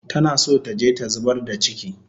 Tana so taje ta zubar da chiki